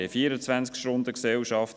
Wir haben eine 24-Stunden-Gesellschaft.